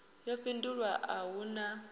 yo fhindulwa a hu na